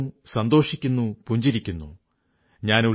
യേ സബ ഹൈ ക്യോംകി തുമ് ഹോ യേ തുമകോ ആജ് ബതാതാ ഹൂം